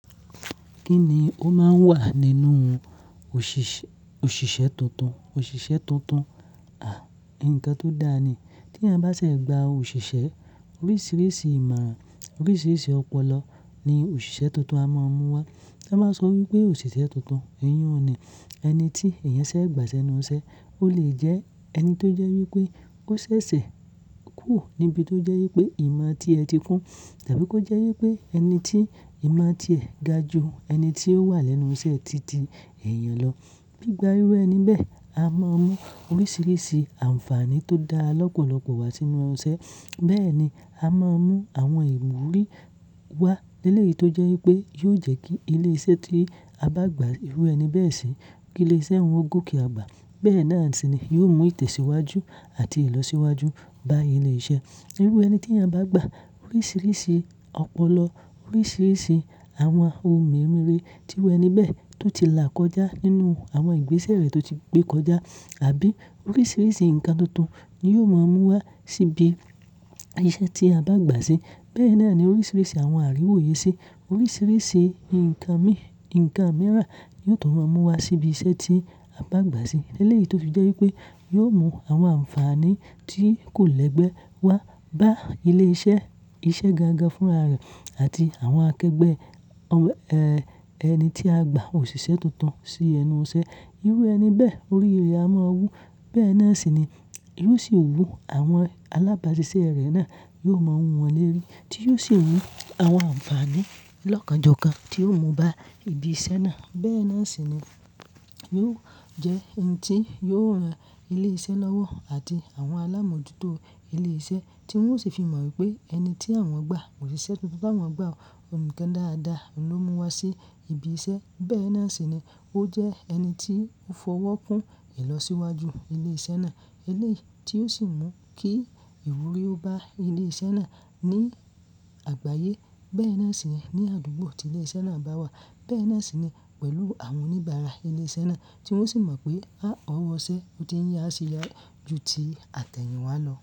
Kí ni ó máa ń wà nínú òṣìṣẹ́ tuntun? Òṣìṣẹ́ tuntun, à, nǹkan tó dáa ni. Tí ẹeyan bá ṣe gba òṣìṣẹ́, oríṣiríṣi ìmọ̀ran, oríṣiríṣi ọpọlọ ni òṣìṣẹ́ tuntun a máa mú wá. A máa n sọ wípé òṣìṣẹ́ tuntun eyún ni, ẹni tí èèyàn ṣe gbà sẹ́nu iṣẹ́. Ó lè jẹ́ ẹni tó jẹ́ wípé ó ṣẹ̀ṣẹ̀ kúrò níbi tó jẹ́ wípé ìmọ̀ tí ẹ ti kún tàbí kó jẹ́ wípé ẹni tí ìmọ̀ tí ẹ ga ju ẹni tí ó wà lẹ́nu iṣẹ́ ti ti ẹ̀yán lọ. Gbí gbá irú ẹni bẹ́ẹ̀, a máa mú oríṣiríṣi àǹfààní tó dá lọ́pọ̀lọpọ̀ wá sínú iṣẹ́. Bẹ́ẹ̀ ni, a máa mú àwọn ìwúrí wá eleyí tó jẹ́ wípé yóò jẹ́ kí ilé iṣẹ́ tí a bá gbà irú ẹni bẹ́ẹ̀ sí, kí ilé iṣẹ́ hun ó gòkè àgbà. Bẹ́ẹ̀ náà sì ni, yóò mú ìtẹ̀síwájú àti ìlọsíwájú bá ilé iṣẹ́. Irú ẹni tí eeyan bá gbà oríṣiríṣi ọpọlọ, oríṣiríṣi àwọn ohun meremere ti iru ení beẹ̀ tó ti là kọjá nínú àwọn ìgbésẹ̀ rẹ̀ tó ti gbé kọjá àbí oríṣiríṣi ǹkan tuntun ni yóò máa mú wá síbi iṣẹ́ tí a bá gbà sí. Bẹ́ẹ̀ náà ni oríṣiríṣi àwọn àríwóye sí, oríṣiríṣi ǹkan mìíràn ni yóò tún máa mú wá síbi iṣẹ́ tí a bá gbà sí. Elẹ́ẹ̀yí tó fi jẹ́ wípé yóò mú àwọn àǹfààní tí kò lẹ́gbẹ́ wá bá ilé iṣẹ́ iṣẹ́ gangan fún ara rẹ̀ àti àwọn akẹgbẹ́ ẹni tí a gbà òṣìṣẹ́ tuntun sí ẹnu iṣẹ́. Irú ẹni bẹ́ẹ̀ oríi re a máa wú. Bẹ́ẹ̀ náà sì ni, yóò sì wú àwọn alábàáṣiṣẹ́ rẹ̀ náà, yóò máa mú wọn lẹ́rí tí yóò sì mú àwọn àǹfààní lọ́kàn jọ́ kan tí yóò mú bá ibi iṣẹ́ náà. Bẹ́ẹ̀ náà sì ni, yóò jẹ́ ẹni tí yóò ran ilé iṣẹ́ lọ́wọ́ àti àwọn alámọ̀jútó ilé iṣẹ́ tí wọ́n sì fi mọ̀ wípé ẹni tí àwọn gbà òṣìṣẹ́ tuntun tá wọ́n gbà, ǹkan dáadáa ló mú wá sí ibi iṣẹ́. Bẹ́ẹ̀ náà sì ni, ó jẹ́ ẹni tí ó fọwọ́ kún ìlọsíwájú ilé iṣẹ́ náà. Lẹ́ẹ̀yí tí ó sì mú kí ìwúrí ó bá ilé iṣẹ́ náà ní àgbáyé. Bẹ́ẹ̀ náà sì ni ní àdúgbò tí ilé iṣẹ́ náà bá wà. Bẹ́ẹ̀ náà sì ni pẹ̀lú àwọn oníbàárà ilé iṣẹ́ náà tí wọ́n sì mọ̀ pé aá ọwọ́ iṣẹ́ ó tín yá ṣe yá ju ti àtẹ̀yìnwá lọ.